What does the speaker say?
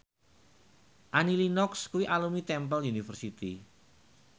Annie Lenox kuwi alumni Temple University